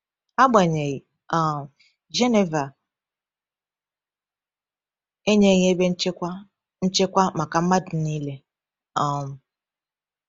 Agbanyeghị, um Geneva enyeghị ebe nchekwa nchekwa maka mmadụ niile. um